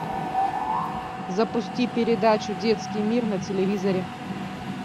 запусти передачу детский мир на телевизоре